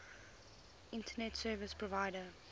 internet service provider